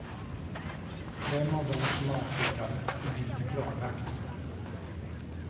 Vem av dem som avfyrade är inte klarlagt.